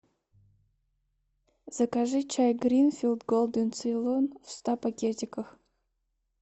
закажи чай гринфилд голден цейлон в ста пакетиках